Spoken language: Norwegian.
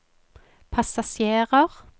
passasjerer